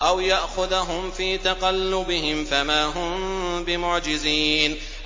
أَوْ يَأْخُذَهُمْ فِي تَقَلُّبِهِمْ فَمَا هُم بِمُعْجِزِينَ